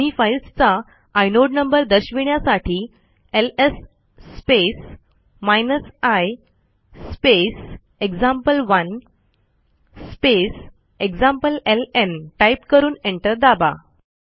दोन्ही फाईल्सचा inode number दर्शविण्यासाठी LS space i space example1 space एक्झाम्प्लेलं टाईप करून एंटर दाबा